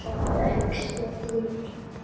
Þökk sé þér.